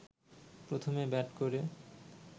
প্রথমে ব্যাট করে